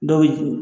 Dɔw bɛ